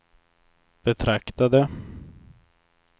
betraktade